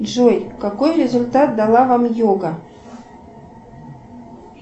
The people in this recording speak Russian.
джой какой результат дала вам йога